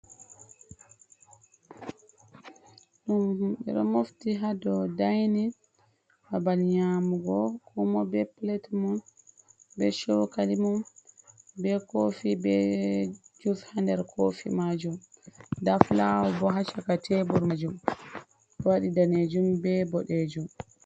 Himɓe ɗon mofti haa dow dainin, babal nƴaamugo. Ko moi bee plet mum, bee chokali mum, bee koofi bee jus haa nder koofi maajum. Nda fulawo boo haa chaka tebur maajum, waɗi daneejum bee boɗejum.